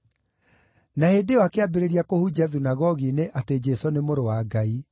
Na hĩndĩ ĩyo akĩambĩrĩria kũhunjia thunagogi-inĩ atĩ Jesũ nĩ Mũrũ wa Ngai.